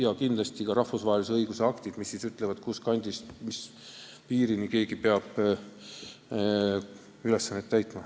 Ja kindlasti on ka rahvusvahelise õiguse aktid need, mis ütlevad, mis piirini peab keegi ülesannet täitma.